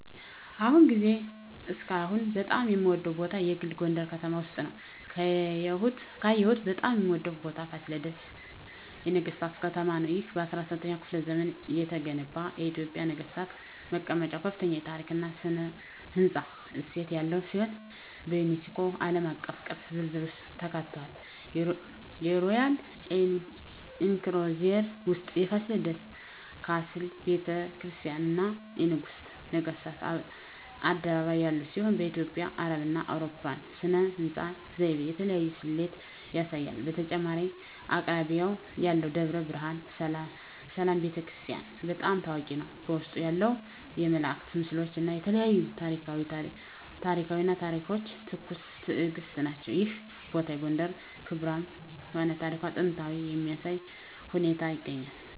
በአሁኑ ጊዜ እስካሁን በጣም የምወደዉ ቦታ የግል ጎንደረ ከተማ ውስጥ ነዉ። ካየሁት በጣም የምወደው ቦታ ፋሲለደስ የነገሥታት ከተማ ነው። ይህ በ17ኛው ክፍለ ዘመን የተገነባ የኢትዮጵያ ነገሥታት መቀመጫ ከፍተኛ የታሪክ እና ሥነ ሕንፃ እሴት ያለው ሲሆን፣ በዩኔስኮ ዓለም አቀፍ ቅርስ ዝርዝር ውስጥ ተካትቷል። የሮያል ኢንክሎዜር ውስጥ የፋሲለደስ ካስል፣ ቤተ ክርስቲያናት፣ እና የንጉሠ ነገሥቱ አደባባይ ያሉት ሲሆን፣ በኢትዮጵያ፣ አረብና አውሮፓዊ ሥነ ሕንፃ ዘይቤ የተለያየ ስሌት ያሳያል። በተጨማሪም አቅራቢያው ያለው ደብረ ብርሃን ሰላም ቤተ ክርስቲያን** በጣም ታዋቂ ነው፣ በውስጡ ያሉት የመላእክት ምስሎች እና የተለያዩ ታሪኳዊ ታሪኮች ትኩስ ትእግስት ናቸው። ይህ ቦታ የጎንደርን ክብራም እና ታሪካዊ ጥንታዊነት በሚያሳይ ሁኔታ ይገኛል።